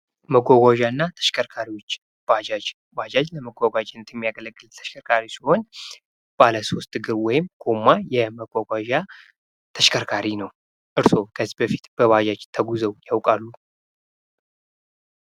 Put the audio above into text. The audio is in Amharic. መጓጓዣ እና ተሽከርካሪዎች ባጃጅ ለመጓጓዣነት የሚያገለግል ተሽከርካሪ ሲሆን ባለሶስት እግር ወይም ጎማ የመጓጓዣተሽከርካሪ ነው። እርሶ ከዚህ በፊት በባጃጅ ተጉዘው ያውቃሉ?